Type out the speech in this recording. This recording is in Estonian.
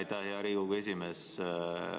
Aitäh, hea Riigikogu esimees!